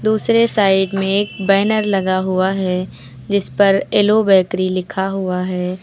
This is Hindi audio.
दूसरे साइड में एक बैनर लगा हुआ है जिस पर एलो बैकरी लिखा हुआ है।